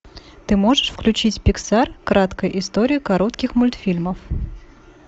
ты можешь включить пиксар краткая история коротких мультфильмов